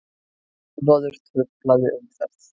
Ölvaður truflaði umferð